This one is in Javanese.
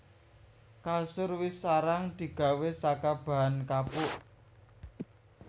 Kasur wis arang digawé saka bahan kapuk